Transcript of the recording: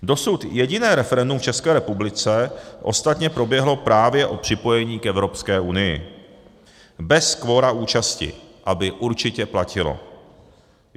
Dosud jediné referendum v České republice ostatně proběhlo právě o připojení k Evropské unii, bez kvora účasti, aby určitě platilo.